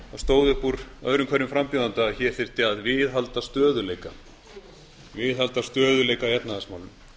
stóð upp úr öðrum hverjum frambjóðanda að hér þyrfti að viðhalda stöðugleika í efnahagsmálum